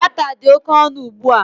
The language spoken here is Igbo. Data dị oke ọnụ ugbua